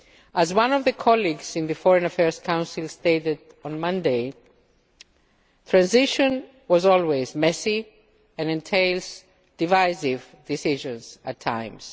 As one of my colleagues in the Foreign Affairs Council stated on Monday, transition is always messy and entails divisive decisions at times.